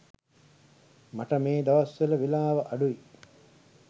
මට මේ දවස්වල වෙලාව අඩුයි.